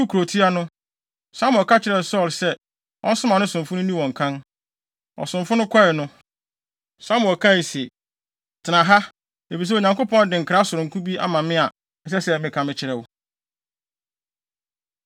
Woduu kurotia no, Samuel ka kyerɛɛ Saulo sɛ ɔnsoma ne somfo no nni wɔn kan. Ɔsomfo no kɔe no, Samuel kae se, “Tena ha, efisɛ Onyankopɔn de nkra sononko bi ama me a, ɛsɛ sɛ meka kyerɛ wo.”